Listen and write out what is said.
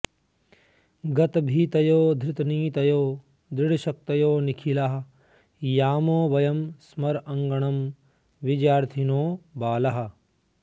गतभीतयो धृतनीतयो दृढशक्तयो निखिलाः यामो वयं समराङ्गणं विजयार्थिनो बालाः